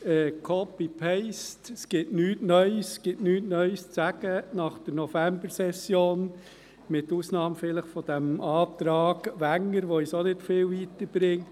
«Copy and paste»: Es gibt nichts Neues, es gibt nichts Neues zu sagen nach der Novembersession, vielleicht mit Ausnahme dieses Antrags Wenger, der uns auch nicht viel weiter bringt.